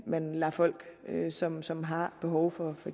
man lader folk som som har behov for for